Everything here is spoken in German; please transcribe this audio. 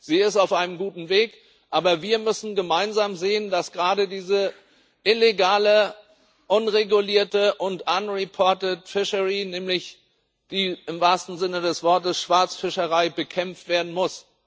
Sie ist auf einem guten Weg, aber wir müssen gemeinsam sehen, dass gerade diese illegale, nicht gemeldete und unregulierte Fischerei, nämlich die im wahrsten Sinne des Wortes Schwarzfischerei, bekämpft werden muss.